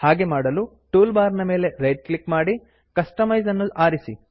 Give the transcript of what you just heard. ಹಾಗೆ ಮಾಡಲು toolbar ನ ಮೇಲೆ ರೈಟ್ ಕ್ಲಿಕ್ ಮಾಡಿ ಕಸ್ಟಮೈಜ್ ಕಸ್ಟಮೈಸ್ ಅನ್ನು ಆರಿಸಿ